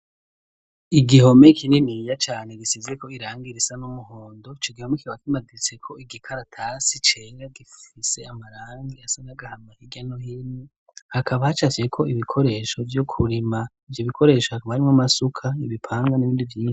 Igihome kininiya cane gisizeko irangi risa n'umuhondo, ico gihome kikaba kimaditseko igikaratasi cera gifise amarangi asa n'agahama hirya no hino, hakaba hacafyeko ibikoresho vyo kurima, ivyo bikoresho hakaba harimwo amasuka, ibipanga n'ibindi vyinshi.